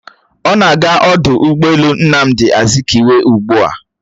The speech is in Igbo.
Ọ na-aga ọdụ ụgbọelu Nnamdi Azikiwe ugbua?